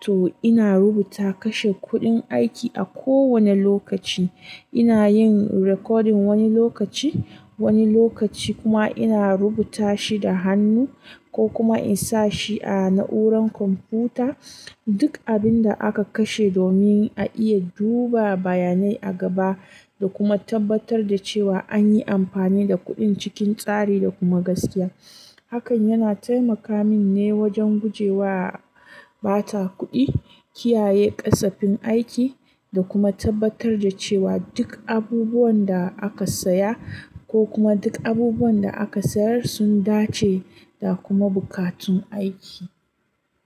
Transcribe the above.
to ina rubuta kashe kuɗin aiki a kowane lokaci. Ina yin rikodin wani lokaci, wani lokaci kuma ina rubuta shi da hannu ko kuma in sa shi a na'urar kwamfuta. Duk abin da aka kashe domin a iya duba bayanai a gaba da kuma tabbatar da cewa an yi amfani da kuɗin cikin tsari da kuma gaskiya. Hakan yana taimaka mini ne wajen gujewa bata kuɗi, kiyaye ƙasafin aiki, da kuma tabbatar da cewa duk abubuwan da aka saya ko kuma duk abubuwan da aka sayar sun dace da kuma buƙatun aiki.